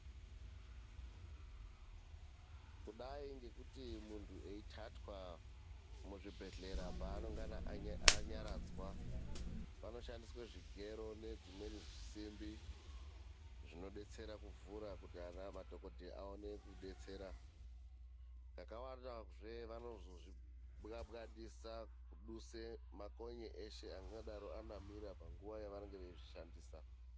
Kudai ngekuti mundhu eithathwa muzvibhedhlera paanongana anyaradzwa, panoshandiswe zvigero nedzimweni simbi, zvinodetsera kuvhura kuti ana madhokodheya aone kudetsera. Ndakawana zve vanozozvibwabwadisa kuduse makonye eshe angadaro anamira panguwa yevanenge veizvishandisa.